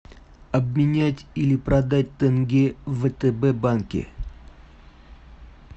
обменять или продать тенге в втб банке